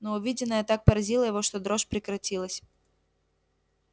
но увиденное так поразило его что дрожь прекратилась